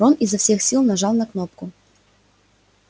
рон изо всех сил нажал на кнопку